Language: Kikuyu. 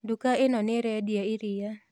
Nduka ĩno nĩĩrendia iria